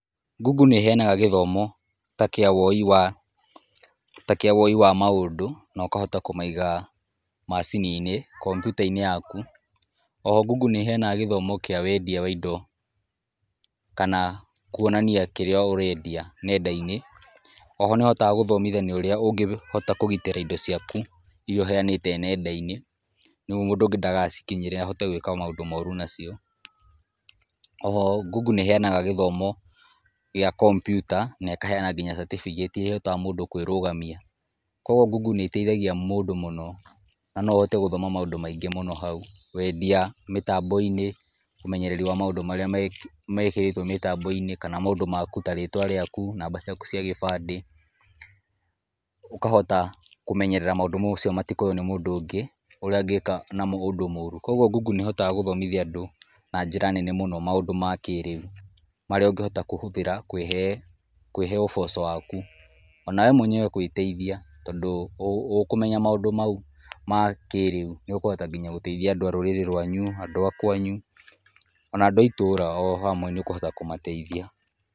Google nĩ ĩheanaga gĩthomo takĩa woi wa, takĩa woi wa maũndũ no kahota kũmaiga macininĩ, kombiũta~inĩ yaku. Oho, Google nĩ iheanaga gĩthomo kĩa wendia wa indo kana kũonania kĩrĩa urendia ng'enda~inĩ. Oho nĩhotaga gũthomithania ũrĩa ũngĩhota kũgitĩra indo ciaku iria uheanĩte ng'enda~inĩ nĩguo mũndũ ungĩ ndagacikinyĩre ahote gwĩka maũndũ morũ nacio. Oho, google nĩheanaga gĩthomo gĩa kombiũta na ĩkaheana nginya certificate iria ihotaga mũndũ kũĩrũgamia. Kogũo, Google nĩteithagia mũndũ mũno na noũhote gũthoma maũndũ maingĩ mũno haũ. Wendia mitambo~inĩ, ũmenyereri wa maũndũ marĩa mekĩrĩtũo mitambo~inĩ kana maũndũ ta ritũa rĩakũ, namba ciaku cia gĩbandĩ, ũkahota kũmenyerera maũndũ macio matikoyo nĩ mũndũ ũngĩ ũrĩa angĩka namo maũndũ morũ. Kogũo, Google nĩhotaga gũthomithia andũ na njĩra nene mũno maũndu makĩrĩũ marĩa ungĩhota kũhũthĩra kũĩhe ũboco wakũ, onawe mũenyewe gũĩteithia tondũ ũkũmenya maũndũ maũ makĩrĩũ, nĩũkũhota nginya gũteithia andũ a rũrĩrĩ rũanyũ, andũ a kũanyu ona andũ a itũra ohamũe nĩukũhota kũmateithia.